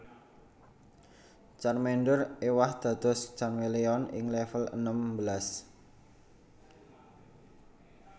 Charmander éwah dados Charmeleon ing level enem belas